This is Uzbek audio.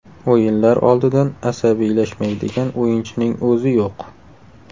O‘yinlar oldidan asabiylashmaydigan o‘yinchining o‘zi yo‘q.